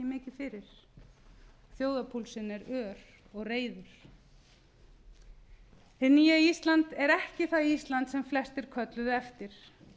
fyrir þjóðarpúlsinn er ör og reiður hið nýja ísland er ekki það ísland sem flestir kölluðu eftir